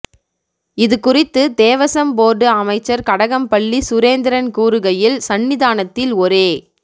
இது குறித்து தேவசம்போர்டு அமைச்சர் கடகம்பள்ளி சுரேந்திரன் கூறுகையில் சன்னிதானத்தில் ஒரே